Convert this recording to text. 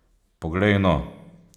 Poglej no!